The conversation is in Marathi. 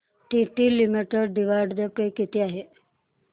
टीटी लिमिटेड डिविडंड पे किती आहे